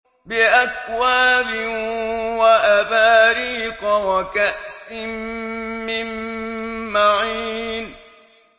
بِأَكْوَابٍ وَأَبَارِيقَ وَكَأْسٍ مِّن مَّعِينٍ